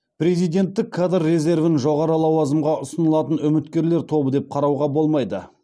президенттік кадр резервін жоғары лауазымға ұсынылатын үміткерлер тобы деп қарауға болмайды